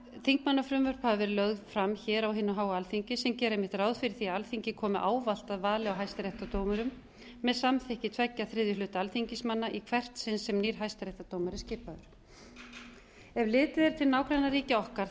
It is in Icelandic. þingmannafrumvörp hafa verið lögð fram hér á hinu háa alþingi sem gera einmitt ráð fyrir því að alþingi komi ávallt að vali á hæstaréttardómurum með samþykki tveggja þriðju hluta alþingismanna í hvert sinn sem nýr hæstaréttardómari er skipaður ef litið er til nágrannaríkja okkar er